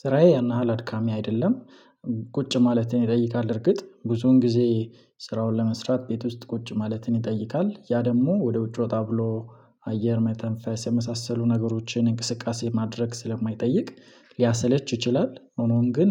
ስራዬ ያን ያህል አድካሚ አይደለም። ቁጭ ማለትን ይጠይቃል እርግጥ ብዙን ጊዜ ስራውን ለመስራት ቤት ውስጥ ቁጭ ማለትን ይጠይቃል። ያ ደሞ ወደ ውጭ ወጣ ብሎ አየር መተንፈስ የመሳሰሉ ነገሮችን እንቅስቃሴ ማድረግ ስለማይጠይቅ ሊያሰለች ይችላል። ሆኖም ግን